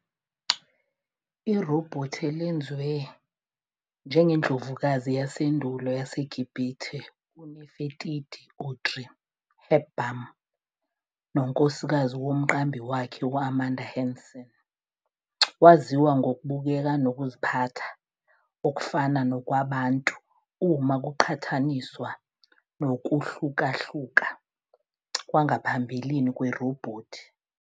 Irobhothi, elenziwe njengeNdlovukazi yasendulo yaseGibhithe uNefertiti, Audrey Hepburn, nonkosikazi womqambi wakhe, u-Amanda Hanson, Waziwa ngokubukeka nokuziphatha okufana nokwabantu uma kuqhathaniswa nokuhlukahluka kwangaphambilini kwerobhothi.